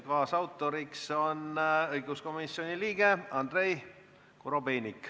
Kaasettekandja on õiguskomisjoni liige Andrei Korobeinik.